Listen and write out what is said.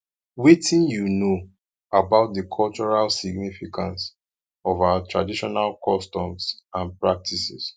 wetin you know about di cultural significance of our traditional customs and practices